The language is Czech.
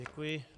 Děkuji.